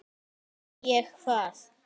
En ég, hvað?